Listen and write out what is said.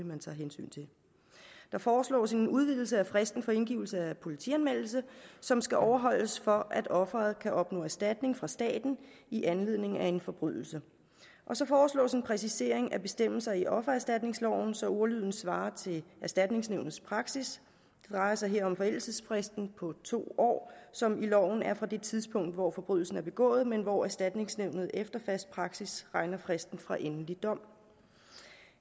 man tager hensyn til der foreslås en udvidelse af fristen for indgivelse af politianmeldelse som skal overholdes for at offeret kan opnå erstatning fra staten i anledning af en forbrydelse så foreslås der en præcisering af bestemmelserne i offererstatningsloven så ordlyden svarer til erstatningsnævnets praksis det drejer sig her om forældelsesfristen på to år som i loven er fra det tidspunkt hvor forbrydelsen er begået men hvor erstatningsnævnet efter fast praksis regner fristen fra endelig dom